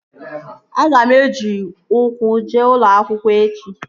Aga m eji ukwu jee ụlọ akwụkwọ echi